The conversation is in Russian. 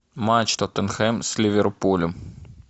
матч тоттенхэм с ливерпулем